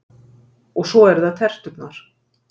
Og svo eru það terturnar.